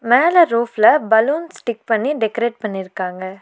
மேல ரூப்ல balloon stick பண்ணி டெகரேட் பண்ணியிருக்காங்க.